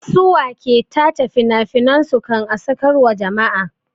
Su wa ke tace finafinan su kan a sakar wa jama'a?